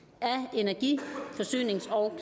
energi forsynings og